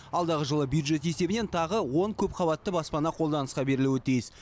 алдағы жылы бюджет есебінен тағы он көпқабатты баспана қолданысқа берілуі тиіс